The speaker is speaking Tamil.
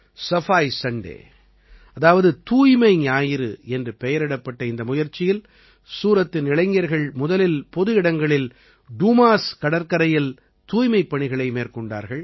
சஃபாய் சண்டே அதாவது தூய்மை ஞாயிறு என்று பெயரிடப்பட்ட இந்த முயற்சியில் சூரத்தின் இளைஞர்கள் முதலில் பொது இடங்களில் டூமாஸ் கடற்கரையில் தூய்மைப் பணிகளை மேற்கொண்டார்கள்